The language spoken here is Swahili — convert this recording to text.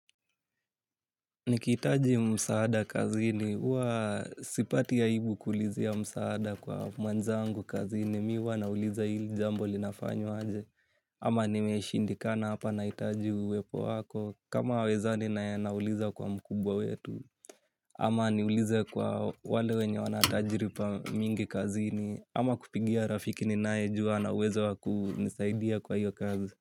Nikitaji msaada kazini, huwa sipati ya ibu kulizia msaada kwa mwanzangu kazini, mi wanauliza ili jambo linafanyo aje. Ama nimeshindikana hapa naitaji uwepo wako, kama weza ninauliza kwa mkubwa wetu. Ama niulize kwa wale wenye wanatajiripa mingi kazini, ama kupingia rafiki ninae jua na uweza waku nisaidia kwa hiyo kazi.